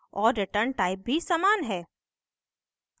और returntype भी समान है